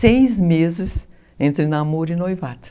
Seis meses entre namoro e noivado.